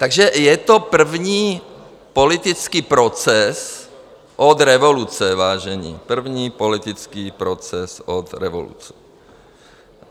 Takže je to první politický proces od revoluce, vážení, první politický proces od revoluce.